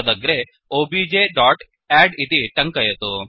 तदग्रे objअद्द् इति टङ्कयतु